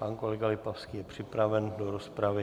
Pan kolega Lipavský je připraven do rozpravy.